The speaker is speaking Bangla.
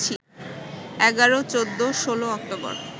১১, ১৪, ১৬ অক্টোবর